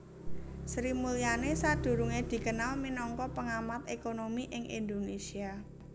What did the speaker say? Sri Mulyani sadurungé dikenal minangka pengamat ékonomi ing Indonésia